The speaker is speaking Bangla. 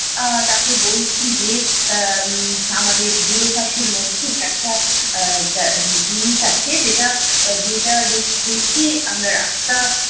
আহ তাকে বলছি যে আহ উম আমাদের দূরভাষের মধ্যে একটা আহ জায়~ জিনিস আছে যেটা~ যেটা দেখে দেখিয়ে আমরা রাস্তা